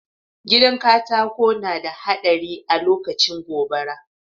Gidan katako na da haɗari alokacin gobara